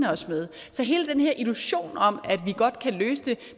os med så hele den her illusion om at vi godt kan løse det